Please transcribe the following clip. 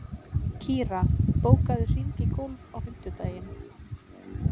Kira, bókaðu hring í golf á fimmtudaginn.